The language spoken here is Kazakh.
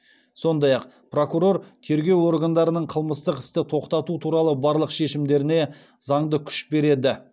сондай ақ прокурор тергеу органдарының қылмыстық істі тоқтату туралы барлық шешімдеріне заңды күш береді